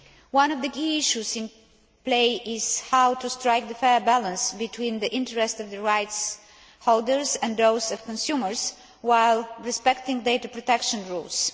One of the key issues in play is how to strike a fair balance between the interests of rights holders and those of consumers, while respecting data protection rules.